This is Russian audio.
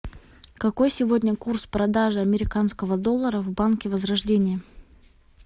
какой сегодня курс продажи американского доллара в банке возрождение